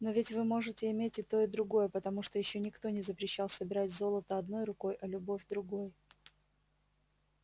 но ведь вы можете иметь и то и другое потому что ещё никто не запрещал собирать золото одной рукой а любовь другой